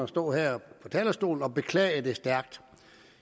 stå her på talerstolen og beklage det stærkt